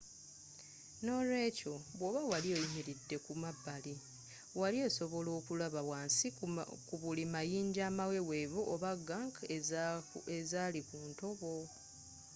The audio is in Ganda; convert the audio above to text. nolwekyo bwoba wali oyimiridde ku mabbali wali sobodde okulaba wansi ku buli mayinja amawewevu oba gunk ezali ku ntobo